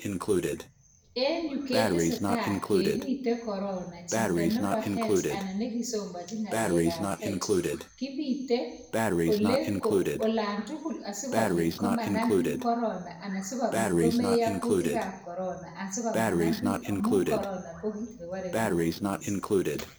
Enuu ketesetai kepite corona chito nebo health anan nikisomanichi ngalek ab health kipite olatugul asikopit komandandit corona anan sikopit komeyaa kutik asikopit manampik amuu corona kokit nee barepik kot missing